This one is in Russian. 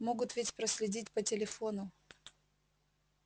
могут ведь проследить по телефону